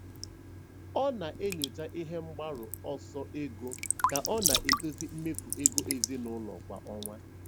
Ọ na-enyocha ihe mgbaru ọsọ ego ka ọ na-edozi mmefu ego ezinụlọ kwa ọnwa.